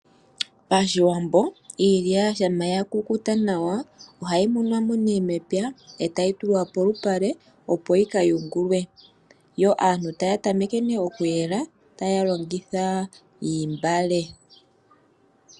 Pashiwambo iilya shampa ya kukuta nawa, oha yi munwa mo ne mepya, e tayi tulwa polupale opo yika yungulwe , yo aantu taya tameke ne oku yela,, taya longitha iimbale.